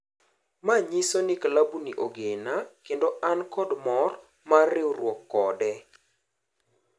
Manyiso ni klabu ni ogena kendo and kod mor mar riuruok kode".